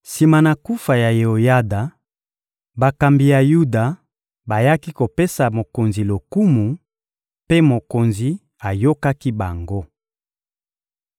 Sima na kufa ya Yeoyada, bakambi ya Yuda bayaki kopesa mokonzi lokumu, mpe mokonzi ayokaki bango.